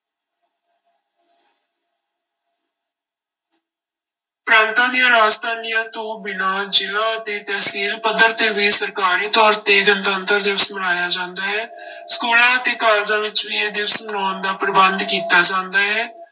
ਪ੍ਰਾਂਤਾਂ ਦੀਆਂ ਰਾਜਧਾਨੀਆਂ ਤੋਂ ਬਿਨਾਂ ਜ਼ਿਲ੍ਹਾ ਅਤੇ ਤਹਿਸੀਲ ਪੱਧਰ ਤੇ ਵੀ ਸਰਕਾਰੀ ਤੌਰ ਤੇ ਗਣਤੰਤਰ ਦਿਵਸ ਮਨਾਇਆ ਜਾਂਦਾ ਹੈ ਸਕੂਲਾਂ ਅਤੇ ਕਾਲਜਾਂ ਵਿੱਚ ਵੀ ਇਹ ਦਿਵਸ ਮਨਾਉਣ ਦਾ ਪ੍ਰਬੰਧ ਕੀਤਾ ਜਾਂਦਾ ਹੈ।